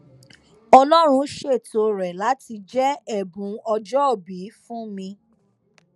ọlọrun ṣètò rẹ láti jẹ ẹbùn ọjọòbí fún mi